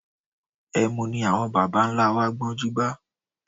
Ẹmu ní àwọn bàbá-ńlá wa gbọ́njúbá